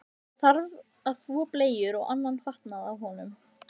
Það þarf að þvo bleyjur og annan fatnað af honum.